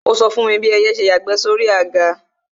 Ó sọ fún mi bí ẹyẹ ṣe yàgbẹ́ sóri àga